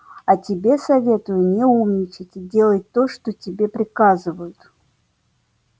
а тебе советую не умничать и делать то что тебе приказывают